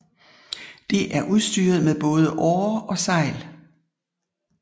Det er udstyret med både årer og sejl